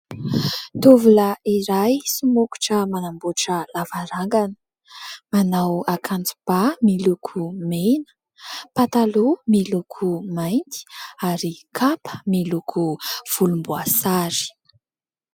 Tovolahy iray somokotra manamboatra lavarangana. Manao akanjobà miloko mena, pataloha miloko mainty, ary kapa miloko volomboasary.